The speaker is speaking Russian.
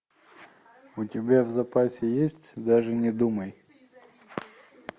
у тебя в запасе есть даже не думай